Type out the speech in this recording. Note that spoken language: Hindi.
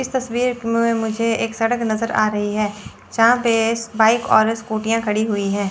इस तस्वीर में मुझे एक सड़क नजर आ रही है जहां पे बाइक और स्कूटियां खड़ी हुई हैं।